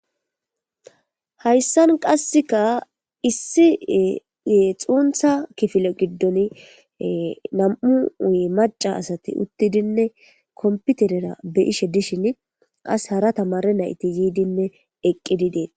Hayissani qassika xunitha kifile gidoni namu'u macca assati utidinne komipitereni beyishe dishini qassi hara tamare nayit yeidine eqidi deyesi